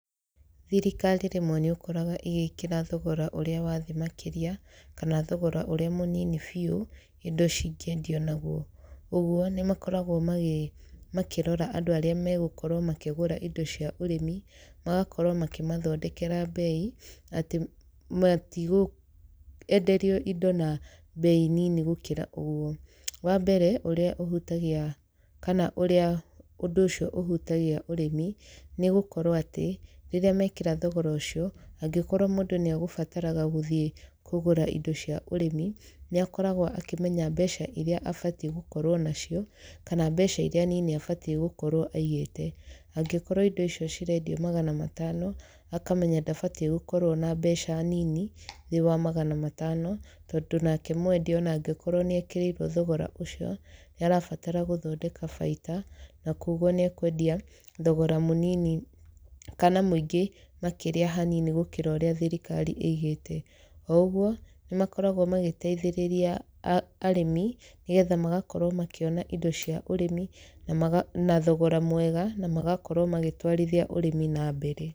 Thirikari rĩmwe nĩ ũkoraga ĩgĩkĩra thogora ũrĩa wa thĩ makĩria, kana thogora ũrĩa mũnini biũ, indo cingĩendio naguo. Ũguo, nĩ makoragwo makĩrora andũ arĩa megũkorwo makĩgũra indo cia ũrĩmi, magakorwo makĩmathondekera mbei, atĩ matigwenderio indo na mbei nini gũkĩra ũguo. Wa mbere ũrĩa ũhutagia kana ũrĩa ũndũ ũcio ũhutagia ũrĩmi, nĩ gũkorwo atĩ, rĩrĩa mekĩra thogora ũcio, angĩkorwo mũndũ nĩ egũbataraga gũthiĩ kũgũra indo cia ũrĩmi, nĩ akoragwo akĩmenya mbeca irĩa abatiĩ gũkorwo nacio, kana mbeca irĩa nini abatiĩ gũkorwo aigĩte. Angĩkorwo indo icio cirendio magana matano, akamenya ndabatiĩ gũkorwo ena mbeca nini thĩ wa magana matano, tondũ nake mwendia ona angĩkorwo nĩ ekĩrĩirwo thogora ũcio, nĩ arabatara gũthondeka baita, na kũguo nĩ ekwendia thogora mũnini kana mũingĩ makĩria hanini gũkĩra ũrĩa thirikari ĩigĩte. O ũguo, nĩ makoragwo magĩteithĩrĩria arĩmi, nĩgetha magakorwo makĩona indo cia ũrĩmi na na thogora mwega na magakorwo magĩtwarithia ũrĩmi na mbere.